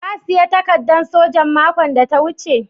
Ka siya takaddan sojan makon da ta wuce?